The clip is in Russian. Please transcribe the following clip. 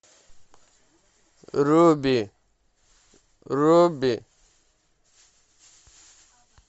руби руби